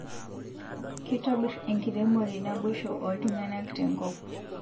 Kitobir enkiremore naboisho oltungana tenkop